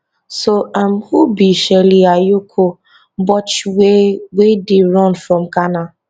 so um who be shirley ayokor botchwey wey dey run from ghana